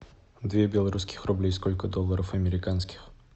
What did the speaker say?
две белорусских рублей сколько долларов американских